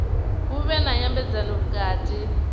hu vhe na nyambedzano vhukati